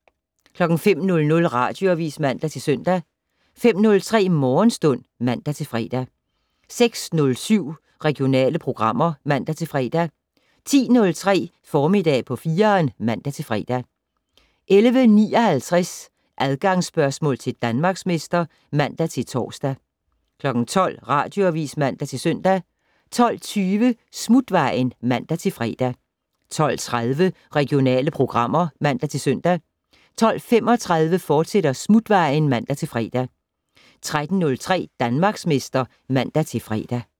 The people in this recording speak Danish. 05:00: Radioavis (man-søn) 05:03: Morgenstund (man-fre) 06:07: Regionale programmer (man-fre) 10:03: Formiddag på 4'eren (man-fre) 11:59: Adgangsspørgsmål til Danmarksmester (man-tor) 12:00: Radioavis (man-søn) 12:20: Smutvejen (man-fre) 12:30: Regionale programmer (man-søn) 12:35: Smutvejen, fortsat (man-fre) 13:03: Danmarksmester (man-fre)